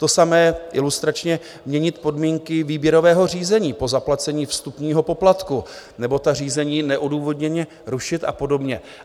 To samé - ilustračně: "Měnit podmínky výběrového řízení po zaplacení vstupního poplatku nebo ta řízení neodůvodněně rušit a podobně."